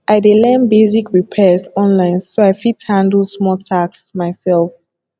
i dey learn basic repairs online so i fit handle small tasks by myself